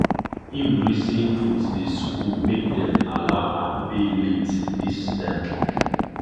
him reason him reason with the school make dem allow am pay late this term